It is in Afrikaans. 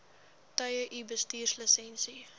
tye u bestuurslisensie